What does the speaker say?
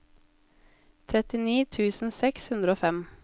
trettini tusen seks hundre og fem